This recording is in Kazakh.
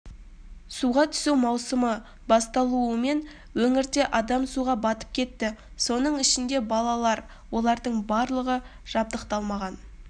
суға түсу маусымы басталуымен өңірде адам суға бутып кетті соның ішінде балалар олардың барлығы жабдықталмаған